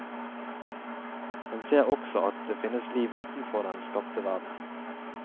Han ser også at det finnes liv utenfor den skapte verden.